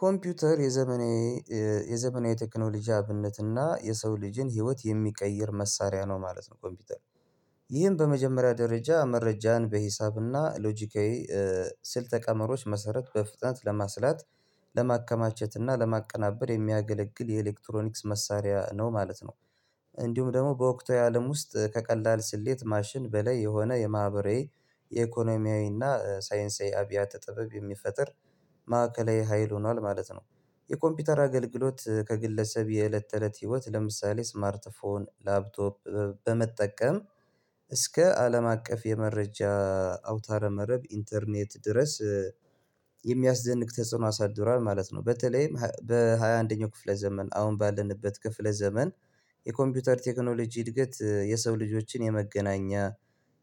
ኮምፒውተር የዘመነ የዘመናዊ ቴክኖሎጂ አብነት እና የሰው ልጅን ህይወት የሚቀይር መሳሪያ ነው ማለት ነው። ኮምፒውተር ይህን በመጀመሪያ ደረጃ መረጃዬን በሂሳብና ሎጂካዊ ስልተ ቀመሮች መሰረት በፍጥነት ለማስላት ለማከማቸት እና ለማቀናበር የሚያገለግል የኤሌክትሮኒክስ መሳሪያ ነው ማለት ነው። እንዲሁም ደግሞ በወቅታዊ አለም ውስጥ ከቀላል ስሌት ማሽን በላይ የሆነ የማህበራዊ የኢኮኖሚያዊና ሳይንሳዊ አብያተ ጥበብ የሚፈጥር ማዕከላዊ ሀይል ሆኗል ማለት ነው። የኮምፒውተር አገልግሎት ከግለሰብ የእለት ተእለት ህይወት ለምሳሌ ስማርት ፎን ላፕቶፕ በመጠቀም እስከ አለም አቀፍ የመረጃ አውታረ መረብ ኢንተርኔት ድረስ የሚያስደንቅ ተጽዕኖ አሳድሯል ማለት ነው። በተለይም በሃያ አንደኛው ክፍለ ዘመን አሁን ባለንበት ክፍለ ዘመን የኮምፒውተር ቴክኖሎጂ እድገት የሰው ልጆችን የመገናኛ